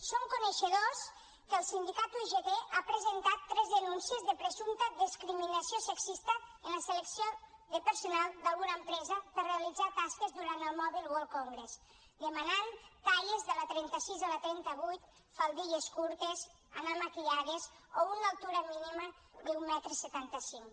som coneixedors que el sindicat ugt ha presentat tres denúncies per presumpta discriminació sexista en la selecció de personal d’alguna empresa per realitzar tasques durant el mobile world congress que demanaven talles de la trenta sis a la trenta vuit faldilles curtes anar maquillades o una altura mínima d’un metre setanta cinc